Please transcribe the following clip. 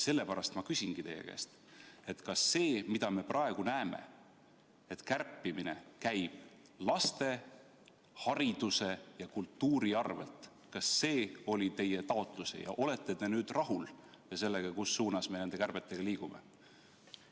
Sellepärast ma küsingi teie käest: kas see, mida me praegu näeme, et kärpimine käib laste, hariduse ja kultuuri arvel, oli teie taotlus, ja kas te olete nüüd rahul sellega, kus suunas me nende kärbetega liigume?